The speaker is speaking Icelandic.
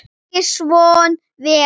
Ekki svo vel?